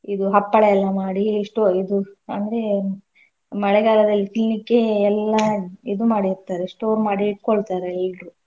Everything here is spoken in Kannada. ಇದು ಹಪ್ಪಳ ಎಲ್ಲ ಮಾಡಿ ಇಷ್ಟು ಇದು ಅಂದ್ರೆ ಮಳೆಗಾಲದಲ್ಲಿ ತಿನ್ಲಿಕ್ಕೆ ಎಲ್ಲಾ ಇದು ಮಾಡಿರ್ತಾರೆ store ಮಾಡಿ ಇಟ್ಕೊಳ್ತಾರೆ ಎಲ್ರೂ.